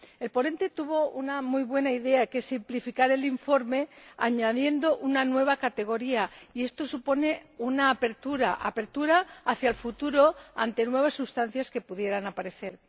El ponente tuvo una muy buena idea, que es simplificar el informe añadiendo una nueva categoría, y esto supone una apertura hacia el futuro ante nuevas sustancias que pudieran aparecer.